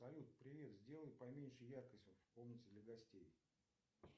салют привет сделай поменьше яркость в комнате для гостей